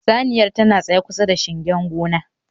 Saniyar tana tsaye kusa da shingen gona